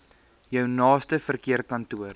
jou naaste verkeerskantoor